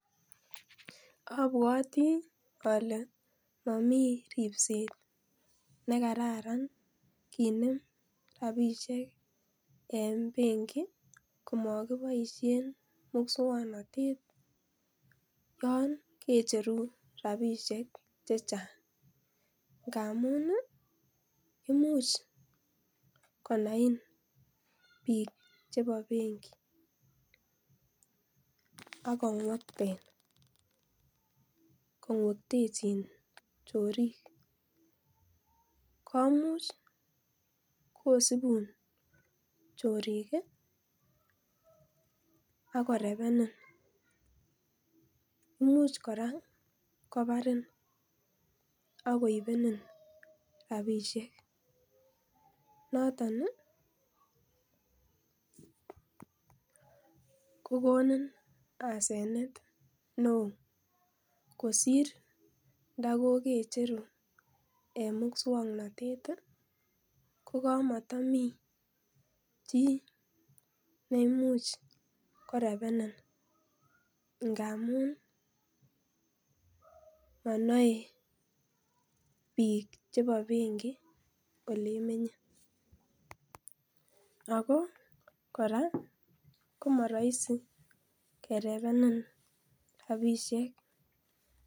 Abwati ale momii ripset nekararan kinem rapisiek en benki komokiboisien muswoknotet yon kecheru rapisiek chechang ngamun ii imuch konain biik chebo benki akong'wekten kong'wektechin chorik komuch kosibun chorik ii akorebenen, imuch kora kobarin akoibenin rapisiek noton ii kokonini asenete ne oo kosir ndo kokecheru en muswoknotet ko kamotomii chii ne imuch korebenen ngamun monoe biik chebo benki olemenye ako kora komorahisi kerebenen rapisiek.